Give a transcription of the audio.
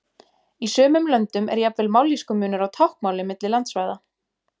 Í sumum löndum er jafnvel mállýskumunur á táknmáli milli landsvæða.